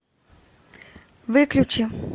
выключи